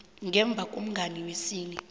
ngemva komhlangano wesine